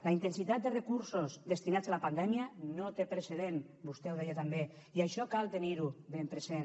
la intensitat de recursos destinats a la pandèmia no té precedent vostè ho deia també i això cal tenir ho ben present